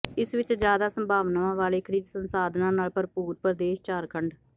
ਇਸ ਵਿੱਚ ਜ਼ਿਆਦਾ ਸੰਭਾਵਨਾਵਾਂ ਵਾਲੇ ਖਣਿਜ ਸੰਸਾਧਨਾਂ ਨਾਲ ਭਰਪੂਰ ਪ੍ਰਦੇਸ਼ ਝਾਰਖੰਡ